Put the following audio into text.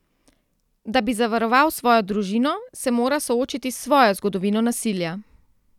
Da bi zavaroval svojo družino, se mora soočiti s svojo zgodovino nasilja.